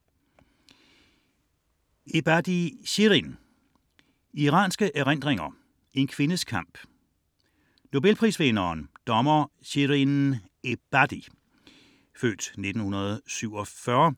99.4 Ebadi, Shirin Ebadi, Shirin: Iranske erindringer: en kvindes kamp Nobelprisvinderen, dommer Shirin Ebadi (f. 1947),